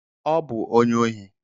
Ọ bụ onye ohi.